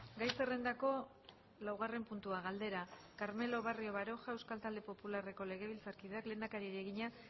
gai zerrendako laugarren puntua galdera carmelo barrio baroja euskal talde popularreko legebiltzarkideak lehendakariari egina